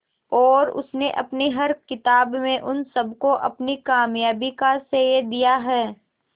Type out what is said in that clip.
और उसने अपनी हर किताब में उन सबको अपनी कामयाबी का श्रेय दिया है